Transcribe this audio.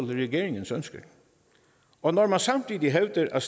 regeringens ønsker og når man samtidig hævder at